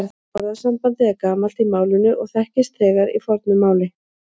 Orðasambandið er gamalt í málinu og þekkist þegar í fornu máli.